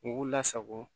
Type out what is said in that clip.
U k'u lasago